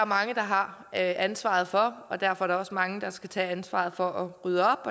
mange der har ansvaret for og derfor er der også mange der skal tage ansvaret for at rydde op